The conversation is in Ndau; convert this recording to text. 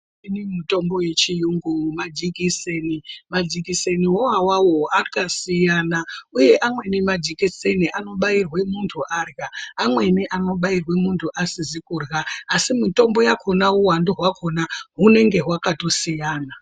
Imweni mitombo yechiyungu majikiseni . Majikiseniwo awawo akasiyana, uye amweni majikiseni anobairwe muntu arya. Amweni anobairwe muntu asizi kurya, asi mitombo yakhona uwandu hwakhona hunenge hwakatosiyana.